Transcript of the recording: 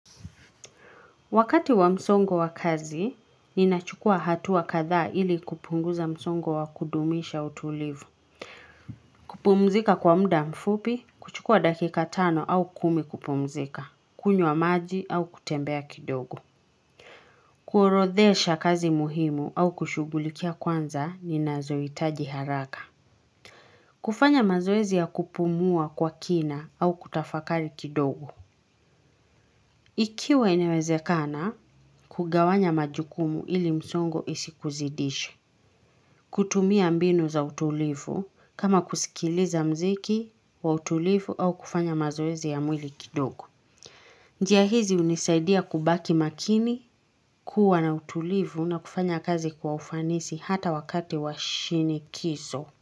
Wakati wa msongo wa kazi, ninachukua hatua kadhaa ili kupunguza msongo wa kudumisha utulivu. Kupumzika kwa muda mfupi, kuchukua dakika tano au kumi kupumzika, kunywa maji au kutembea kidogo. Kuorodhesha kazi muhimu au kushughulikia kwanza, ninazohitaji haraka. Kufanya mazoezi ya kupumua kwa kina au kutafakari kidogo. Ikiwa inawezekana, kugawanya majukumu ili msongo isikuzidishe. Kutumia mbinu za utulivu kama kusikiliza muziki wa utulivu au kufanya mazoezi ya mwili kidogo. Njia hizi hunisaidia kubaki makini, kuwa na utulivu na kufanya kazi kwa ufanisi hata wakati wa shinikizo.